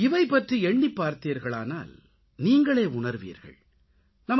இவை பற்றி எண்ணிப் பார்த்தீர்களானால் அசாதாரணமாக எதையும் செய்யவேண்டிய அவசியம் இல்லை என்பதை நீங்களே உணர்வீர்கள்